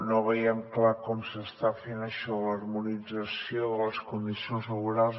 no veiem clar com s’està fent això l’harmonització de les condicions laborals